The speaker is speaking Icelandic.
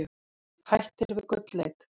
Hættir við gullleit